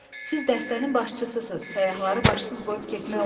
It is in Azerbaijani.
Siz dəstənin başçısız, səyyahları başsız qoyub getmək olmaz.